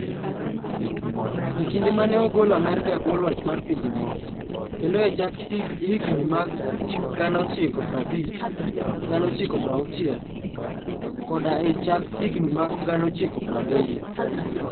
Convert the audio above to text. E kinde ma ne ogol Amerka e bwo loch mar pinje moko, kendo e chak higini mag 1950, 1960, koda e chak higini mag 1970.